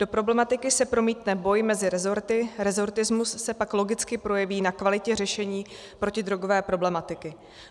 Do problematiky se promítne boj mezi resorty, resortismus se pak logicky projeví na kvalitě řešení protidrogové problematiky.